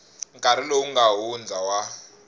nkarhi lowu nga hundza wa